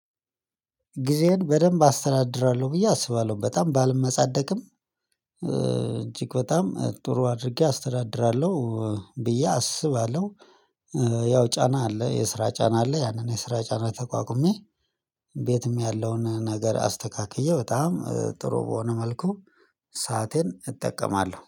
ጊዜየን በደንብ አስተዳድራለሁ ብዬ አስባለሁ በጣም ባልመጻደቅም እጅግ በጣም ጥሩ አድርጌ አስተዳድራለሁ ብዬ አስባለሁ። ያው ጫና አለ የስራ ጫና አለ ያንን የስራ ጫና ተቋቁሜ ቤትም ያለውን ነገር አስተካክዬ በጣም ጥሩ በሆነ መልኩ። ሰአቴን እጠቀማለሁ